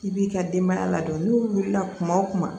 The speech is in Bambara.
I b'i ka denbaya ladon n'u wulila kuma o kuma